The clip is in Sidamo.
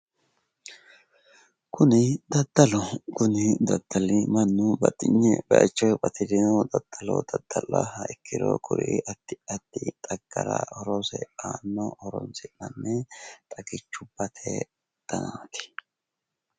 Kunii daddaloho, kuni daddali mannu batinye bayiicho batirino daddalo daddallaha ikkiro kuri addi addi xaggara horose aanno horonsi'nanni xagichubbate danaati.